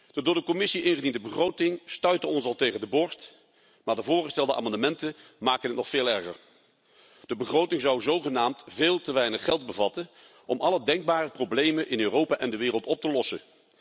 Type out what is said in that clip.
De door de Commissie ingediende begroting stuitte ons al tegen de borst, maar de voorgestelde amendementen maken het nog veel erger. De begroting zou zogenaamd veel te weinig geld bevatten om alle denkbare problemen in Europa en de wereld op te lossen.